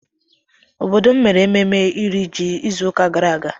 Obodo mere ememme iri ji izuka gara aga.